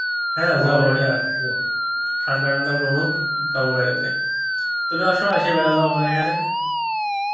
হ্যাঁ যাবো ঠান্ডা টান্দা কমুক যাবো বেড়াতে তুমি এস আসে বের দাও আমার এখানে